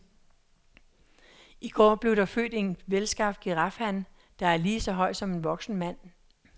I går blev der født en velskabt girafhan, der er lige så høj som en voksen mand.